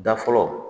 Da fɔlɔ